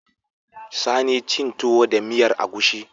Sani cin tuwo da miyar agushi